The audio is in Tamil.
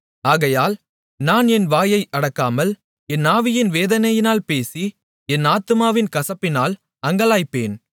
ஆகையால் நான் என் வாயை அடக்காமல் என் ஆவியின் வேதனையினால் பேசி என் ஆத்துமாவின் கசப்பினால் அங்கலாய்ப்பேன்